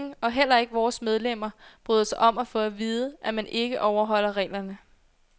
Ingen, og heller ikke vores medlemmer, bryder sig om at få at vide, at man ikke overholder reglerne.